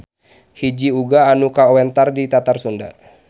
Hiji uga anu kawentar di Tatar Sunda.